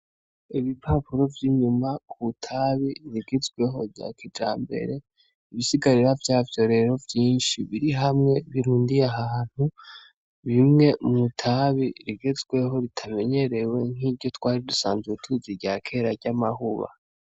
Ibipapuro vy'inyuma ku tabi rigizweho rya kija mbere ibisigarira vyavyo rero vyinshi biri hamwe birundiye ahantu bimwe mu tabi rigezweho ritamenyerewe nk'iryo twari dusanzwe ubutizi rya kera ry'amahuba.